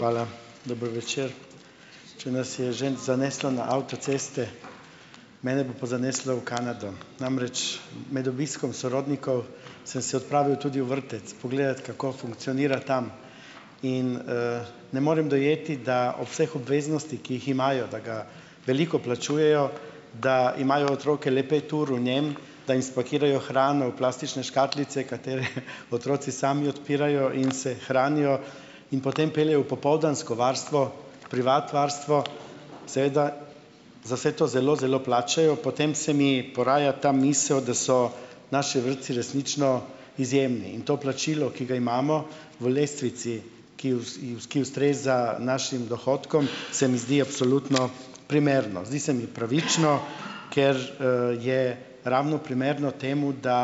Hvala, dober večer. Če nas je že zaneslo na avtoceste, mene bo pa zaneslo v Kanado. Namreč med obiskom sorodnikov, sem se odpravil tudi v vrtec pogledat, kako funkcionira tam in, ne morem dojeti, da ob vseh obveznostih, ki jih imajo, da ga veliko plačujejo, da imajo otroke le pet ur v njem, da jim spakirajo hrano v plastične škatlice, katere otroci sami odpirajo in se hranijo in potem peljejo v popoldansko varstvo, privat varstvo, seveda za vse to zelo, zelo plačajo, potem se mi poraja ta misel, da so naši vrtci resnično izjemni in to plačilo, ki ga imamo v lestvici, ki ki ustreza našim dohodkom, se mi zdi absolutno primerno. Zdi se mi pravično, ker, je ravno primerno temu, da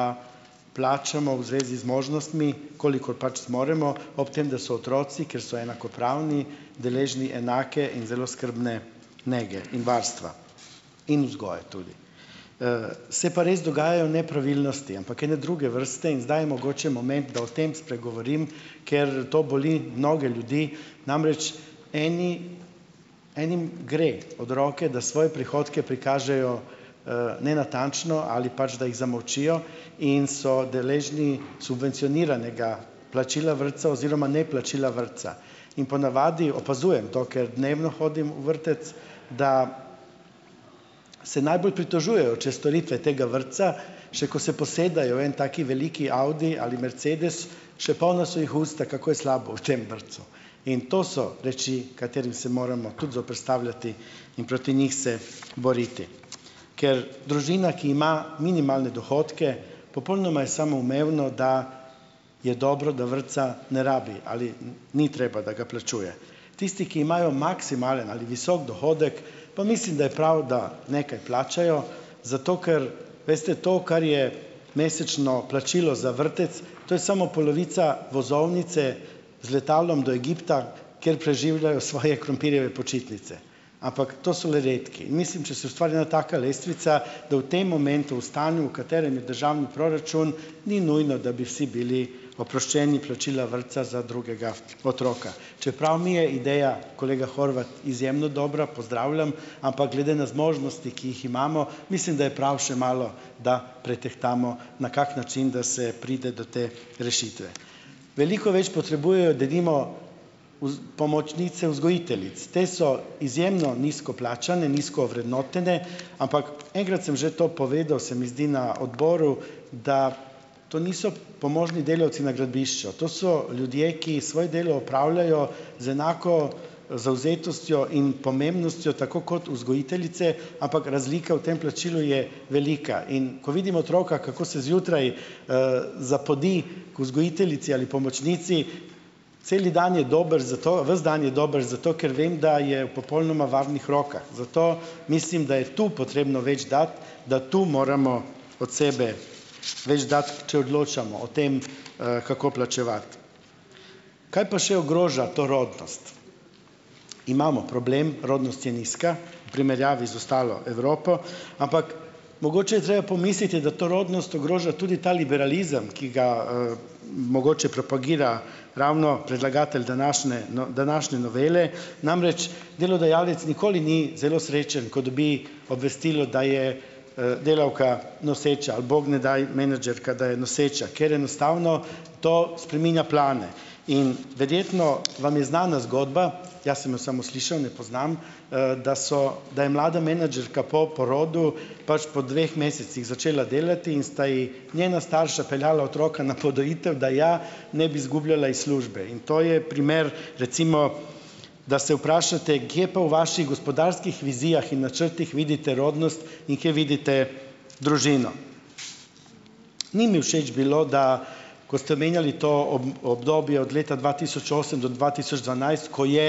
plačamo v zvezi z možnostmi, kolikor pač zmoremo, ob tem, da so otroci, kjer so enakopravni, deležni enake in zelo skrbne nekje in varstva in vzgoje tudi. Se pa res dogajajo nepravilnosti, ampak ene druge vrste in zdaj je mogoče moment, da o tem spregovorim, ker to boli mnoge ljudi, namreč eni enim gre od roke, da svoje prihodke prikažejo, nenatančno ali pač da jih zamolčijo in so deležni subvencioniranega plačila vrtca oziroma neplačila vrtca in po navadi opazujem to, ker dnevno hodim v vrtec, da se najbolj pritožujejo čez storitve tega vrtca, še ko se posedajo v en tak veliki audi ali mercedes, še polna so jih usta, kako je slabo v tem vrtcu. In to so reči, katerim se moramo tudi zoperstavljati in proti njih se boriti. Ker družina, ki ima minimalne dohodke, popolnoma je samoumevno, da je dobro, da vrtca ne rabi ali ni treba, da ga plačuje. Tisti, ki imajo maksimalen ali visok dohodek, pa mislim, da je prav, da nekaj plačajo, zato ker, veste to, kar je mesečno plačilo za vrtec, to je samo polovica vozovnice z letalom do Egipta, kjer preživljajo svoje krompirjeve počitnice, ampak to so le redki. Mislim, če se ustvari ena taka lestvica, da v tem momentu, v stanju, v katerem je državni proračun, ni nujno, da bi vsi bili oproščeni plačila vrtca za drugega otroka, čeprav mi je ideja, kolega Horvat, izjemno dobra, pozdravljam, ampak glede na zmožnosti, ki jih imamo, mislim, da je prav še malo, da pretehtamo, na kak način, da se pride do te rešitve. Veliko več potrebujejo denimo pomočnice vzgojiteljic. Te so izjemno nizko plačane, nizko ovrednotene, ampak, enkrat sem že to povedal, se mi zdi, na odboru, da to niso pomožni delavci na gradbišču, to so ljudje, ki svoje delo opravljajo z enako zavzetostjo in pomembnostjo, tako kot vzgojiteljice, ampak razlika v tem plačilu je velika. In ko vidim otroka, kako se zjutraj, zapodi k vzgojiteljici ali pomočnici, cel dan je dober zato, ves dan je dober, zato ker vem, da je v popolnoma varnih rokah. Zato mislim, da je to potrebno več dati, da to moramo od sebe več dati, če odločamo o tem, kako plačevati. Kaj pa še ogroža to rodnost? Imamo problem, rodnost je nizka v primerjavi z ostalo Evropo. Ampak mogoče je treba pomisliti, da to rodnost ogroža tudi ta liberalizem, ki ga, mogoče propagira ravno predlagatelj današnje, no, današnje novele. Namreč delodajalec nikoli ni zelo srečen, ko dobi obvestilo, da je delavka noseča. Ali bog ne daj, menedžerka, da je noseča. Ker enostavno to spreminja plane. In verjetno vam je znana zgodba, jaz sem jo samo slišal, ne poznam, da so, da je mlada menedžerka po porodu, pač po dveh mesecih začela delati in sta ji njena starša peljala otroka na podojitev, da ja ne bi zgubljala iz službe. In to je primer, recimo, da se vprašate, kje pa v vaši gospodarskih vizijah in načrtih vidite rodnost in kje vidite družino. Ni mi všeč bilo, da, kot ste omenjali to obdobje od leta dva tisoč osem do dva tisoč dvanajst, ko je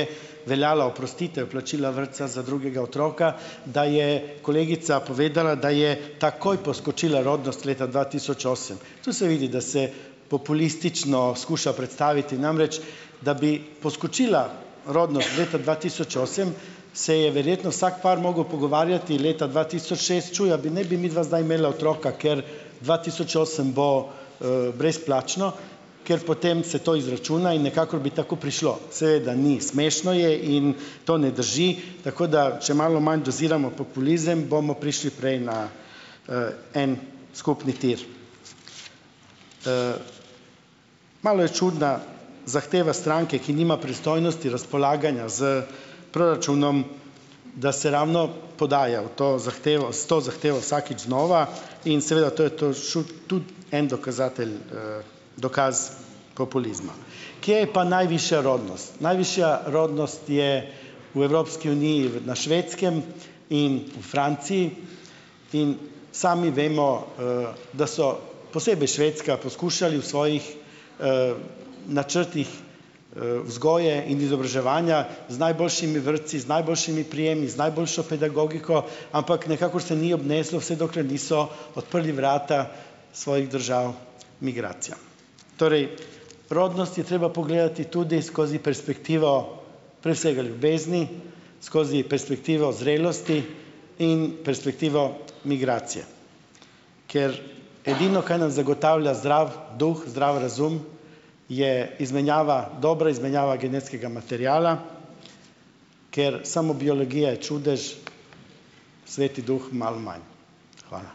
veljala oprostitev plačila vrtca za drugega otroka, da je kolegica povedala, da je takoj poskočila rodnost leta dva tisoč osem. To se vidi, da se populistično skuša predstaviti. Namreč, da bi poskočila rodnost v letu dva tisoč osem, se je verjetno vsak par mogel pogovarjati leta dva tisoč šest: Čuj, a bi ne bi zdaj imela otroka, ker dva tisoč osem bo, brezplačno. Ker potem se to izračuna in nekako bi tako prišlo. Seveda ni. Smešno je. In to ne drži. Tako da če malo manj doziramo populizem, bomo prišli prej na, en skupni tir. Malo je čudna zahteva stranke, ki nima pristojnosti razpolaganja s proračunom, da se ravno podaja v to zahtevo, s to zahtevo vsakič znova. In seveda, to je, to šel tudi en dokazatelj, dokaz populizma. Kje je pa najvišja rodnost? Najvišja rodnost je v Evropski uniji v na Švedskem in v Franciji. In sami vemo, da so, posebej Švedska, poskušali v svojih, načrtih, vzgoje in izobraževanja z najboljšimi vrtci, z najboljšimi prijemi, z najboljšo pedagogiko, ampak nikakor se ni obneslo, vse dokler niso odprli vrata svojih držav migracijam. Torej, rodnost je treba pogledati tudi skozi perspektivo, prek vsega, ljubezni, skozi perspektivo zrelosti in perspektivo migracije. Ker edino, kaj nam zagotavlja zdrav duh, zdrav razum, je izmenjava, dobra izmenjava genetskega materiala, ker samo biologija je čudež, sveti duh malo manj. Hvala.